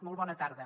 molt bona tarda